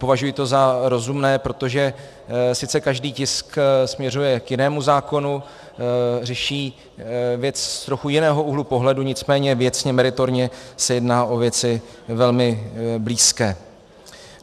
Považuji to za rozumné, protože sice každý tisk směřuje k jinému zákonu, řeší věc z trochu jiného úhlu pohledu, nicméně věcně, meritorně se jedná o věci velmi blízké.